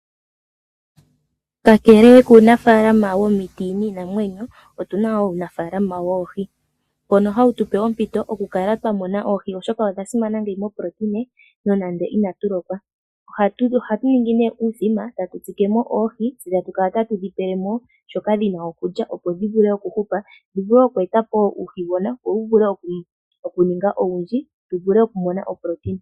Kakele kuunafaalama womiti niinamwenyo otuna wo uunafaalama woohi, mbono hawu tupe ompito oku kala twa mona oohi, oshoka odha simana ngeyi moprotein nonando inatu lokwa. Ohatu ningi nee uuthima tatu tsike mo oohi, tse tatu kala tatu dhi pele mo shoka dhina okulya, opo dhi vule okuhupa dhi vule oku eta po uuhigona, wo wu vule okuninga owundji tu vule oku mona oprotein.